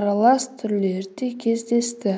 аралас түрлері де кездесті